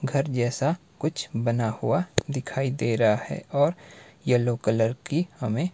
घर जैसा कुछ बना हुआ दिखाई दे रहा है और येलो कलर की हमें--